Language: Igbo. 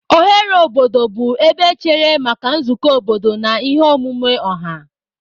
Oghere obodo bụ ebe echere maka nzukọ obodo na ihe omume ọha.